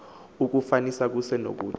oku kufanisa kusenokuthi